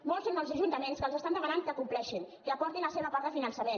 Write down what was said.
molts són els ajuntaments que els demanen que compleixin que aportin la seva part de finançament